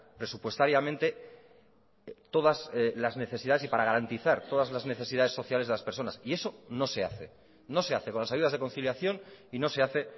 presupuestariamente todas las necesidades y para garantizar todas las necesidades sociales de las personas y eso no se hace no se hace con las ayudas de conciliación y no se hace